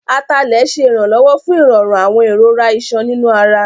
Atalẹ̀ ṣé ìrànlọ́wọ́ fún ìrọ̀rùn àwọn ìrora ìṣàn nínú ara